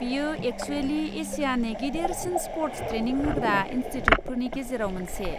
बेयो एकसुयेलि एसियानि गिदिरसिन स्प'र्टस ट्रेनिं हेग्रा इन्सटिटिउटफोरनि गेजेराव मोनसे।